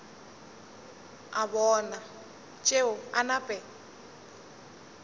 a bona tšeo a nape